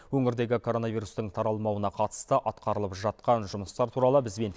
өңірдегі коронавирустың таралмауына қатысты атқарылып жатқан жұмыстар туралы бізбен